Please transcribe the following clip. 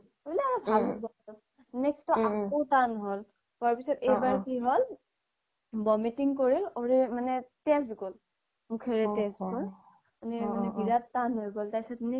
next বাৰ আকৌ তান হ'ল হুৱাৰ পিছ্ত তাৰ পাছত এইবোৰ কি হ'ল vomiting কৰি মানে তেজ গ'ল মুখেৰে তেজ গ'ল মানে বিৰাত তান হৈ গ'ল next